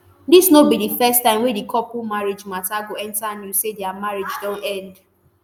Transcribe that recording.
dis no be di first time wey di couple marriage mata go enta news say dia marriage don end